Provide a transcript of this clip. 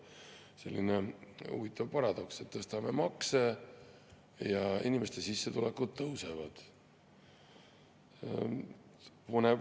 Selline huvitav paradoks, et tõstame makse ja inimeste sissetulekud tõusevad.